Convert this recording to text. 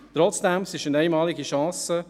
Trotzdem: Es ist eine einmalige Chance.